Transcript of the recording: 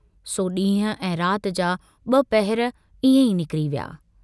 सो डींहुं ऐं रात जा ब पहर इएं ई निकरी विया।